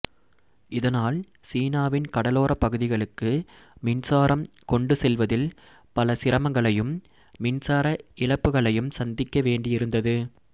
இதனால் சீனாவின் கடலோரப் பகுதிகளுக்கு மின்சாரம் கொண்டு செல்வதில் பல சிரமங்களையும் மின்சார இழப்புகளையும் சந்திக்க வேண்டியிருந்தது